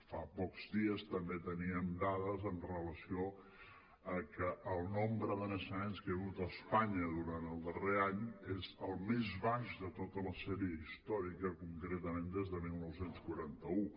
fa pocs dies també teníem dades amb relació a que el nombre de naixements que hi hagut a espanya durant el darrer any és el més baix de tota la sèrie històrica concretament des de dinou quaranta u